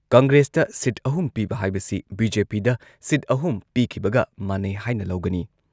ꯀꯪꯒ꯭ꯔꯦꯁꯇ seat ꯑꯍꯨꯝ ꯄꯤꯕ ꯍꯥꯏꯕꯁꯤ ꯕꯤ.ꯖꯦ.ꯄꯤꯗ ꯁꯤꯠ ꯑꯍꯨꯝ ꯄꯤꯈꯤꯕꯒ ꯃꯥꯟꯅꯩ ꯍꯥꯏꯅ ꯂꯧꯒꯅꯤ ꯫